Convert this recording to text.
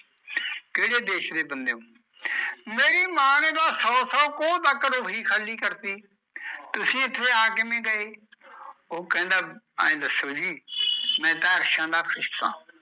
ਕਿਹੜੇ ਦੇਸ਼ ਦੇ ਬੰਦੇ ਓ? ਮੇਰੀ ਮਾਂ ਨੇ ਤਾਂ ਸੋ ਸੋ ਕੋਹ ਤੱਕ ਰੋਹੀ ਖਾਲੀ ਕਰਤੀ, ਤੁਸੀਂ ਇੱਥੇ ਆ ਕਿਵੇ ਗਏ ਓਹ ਕਹਿੰਦਾ, ਐ ਦੱਸੋ ਜੀ ਮੈਂ ਤਾਂ ਅਰਸ਼ਾ ਦਾ ਪੁੱਤ ਆ